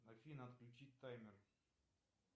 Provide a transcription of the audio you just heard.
афина отключить таймер